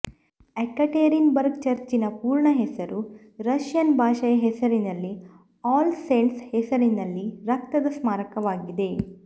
Yekaterinburg ಚರ್ಚಿನ ಪೂರ್ಣ ಹೆಸರು ರಷ್ಯನ್ ಭಾಷೆಯ ಹೆಸರಿನಲ್ಲಿ ಆಲ್ ಸೇಂಟ್ಸ್ ಹೆಸರಿನಲ್ಲಿ ರಕ್ತದ ಸ್ಮಾರಕವಾಗಿದೆ